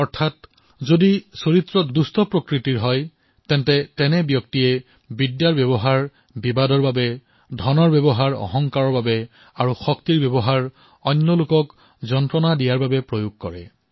অৰ্থাৎ কোনোবা যদি স্বভাৱতে দুষ্ট হয় তেন্তে তেওঁ বিদ্যাৰ প্ৰয়োগ ব্যক্তি বিবাদত ধনৰ প্ৰয়োগ অহংকাৰত আৰু শক্তিৰ প্ৰয়োগ আনক সমস্যাত পেলাবলৈ কৰে